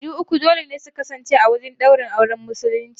Shaidu uku dole ne su kasance a wurin ɗaurin auren musulunci.